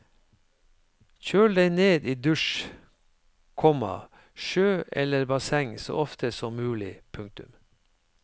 Kjøl deg ned i dusj, komma sjø eller basseng så ofte som mulig. punktum